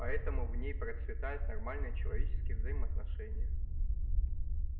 поэтому в ней процветают нормальные человеческие взаимоотношения